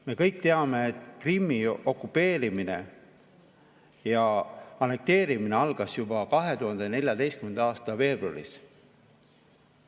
Me kõik teame, et Krimmi okupeerimine ja annekteerimine algas juba 2014. aasta veebruaris.